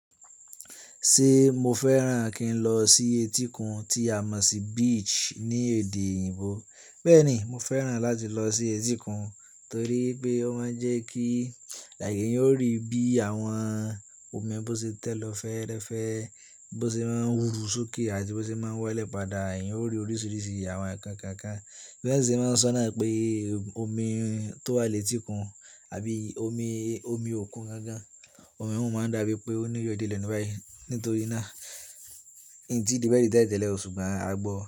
Ṣe mo fẹ́ràn kí n lọ sí etíkun tí a mọ̀ sí beach ní èdè òyìnbó? Bẹ́ẹ̀ni, mo fẹ́ràn láti lọ sí etíkun torí pé ó máa ń jẹ́ kí èèyàn ó rí bí àwọn omi bó ṣe tẹ̀ lọ fẹ́ẹ́rẹ́fẹ́, bó ṣe máa ń ru sókè àti bó ṣe máa ń walẹ̀ padà. Ẹ̀eyin ó rí oríṣìíríṣìí àwọn ǹkan kọ̀ọ̀kan. Bí wọ́n ṣe máa ń sọ náà pé omi tó wà lẹ́tíkun àbí omi, omi òkun gangan, omi ohun máa ń dà bí i pé ó níyọ̀ dié lẹ́nu báyìí. Nítorí náà, n ti débẹ̀ rí tẹ́lẹ̀tẹ́lẹ̀ o ṣùgbọ́n a gbọ́.